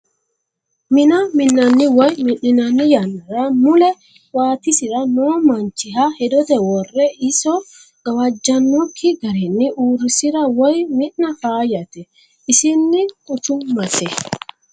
Mina minanni woyi mi'ninanni yannara mule waatisira no manchiha hedote wore iso gawajanokki garinni uurrisira woyi mi'na faayyate isini quchumate.